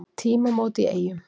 Tímamót í Eyjum